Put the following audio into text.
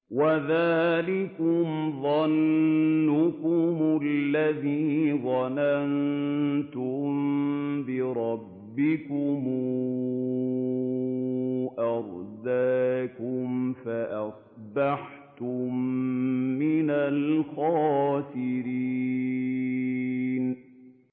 وَذَٰلِكُمْ ظَنُّكُمُ الَّذِي ظَنَنتُم بِرَبِّكُمْ أَرْدَاكُمْ فَأَصْبَحْتُم مِّنَ الْخَاسِرِينَ